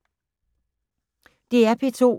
DR P2